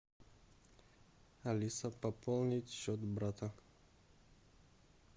алиса пополнить счет брата